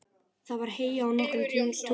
Það var heyjað á nokkrum túnum.